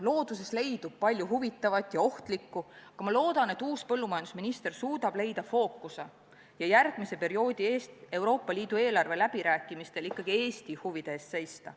Looduses leidub palju huvitavat ja ohtlikku, aga ma loodan, et uus põllumajandusminister suudab leida fookuse ja Euroopa Liidu järgmise perioodi eelarveläbirääkimistel ikkagi Eesti huvide eest seista.